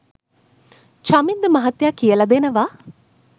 චමින්ද මහත්තයා කියලා දෙනවා